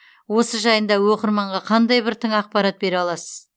осы жайында оқырманға қандай бір тың ақпарат бере аласыз